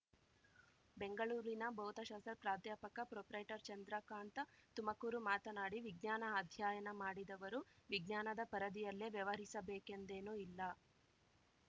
ಬೆಂಗಳೂರಿನ ಭೌತಶಾಸ್ತ್ರ ಪ್ರಾಧ್ಯಾಪಕ ಪ್ರೊಪ್ರೈಟರ್ಚಂದ್ರಕಾಂತ ತುಮಕೂರು ಮಾತನಾಡಿ ವಿಜ್ಞಾನ ಅಧ್ಯಯನ ಮಾಡಿದವರು ವಿಜ್ಞಾನದ ಪರಿಧಿಯಲ್ಲೇ ವ್ಯವಹರಿಸಬೇಕೆಂದೇನೂ ಇಲ್ಲ